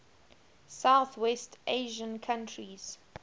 southwest asian countries